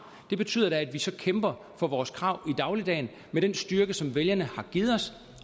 det betyder da at vi så kæmper for vores krav i dagligdagen med den styrke som vælgerne har givet os